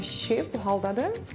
Belə şişib bu haldadır.